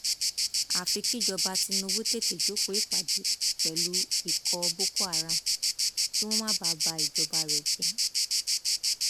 àfi kíjọba tinubu tètè jókòó ìpàdé pẹlú ikọ boko haram kí wọn má bàa ba ìjọba rẹ jẹ